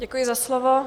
Děkuji za slovo.